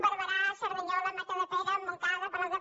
barberà cerdanyola matadepera montcada palau de